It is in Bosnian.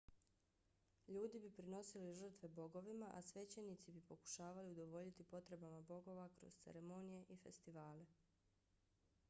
ljudi bi prinosili žrtve bogovima a svećenici bi pokušavali udovoljiti potrebama bogova kroz ceremonije i festivale